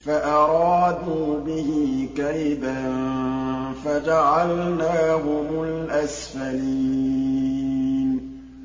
فَأَرَادُوا بِهِ كَيْدًا فَجَعَلْنَاهُمُ الْأَسْفَلِينَ